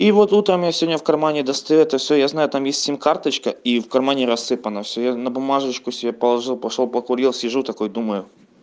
и вот утром я сегодня в кармане достаю это всё я знаю там есть сим карточка и в кармане рассыпано всё я на бумажечку себе положил пошёл покурил сижу такой думаю